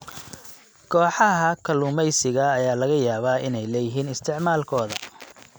Kooxaha kalluumeysiga ayaa laga yaabaa inay leeyihiin isticmaalkooda.